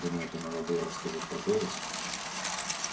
думаете надо было рассказать про голос